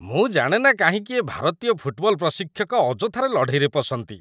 ମୁଁ ଜାଣେ ନା କାହିଁକି ଏ ଭାରତୀୟ ଫୁଟବଲ ପ୍ରଶିକ୍ଷକ ଅଯଥାରେ ଲଢ଼େଇରେ ପଶନ୍ତି।